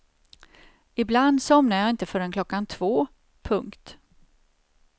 Ibland somnar jag inte förrän klockan två. punkt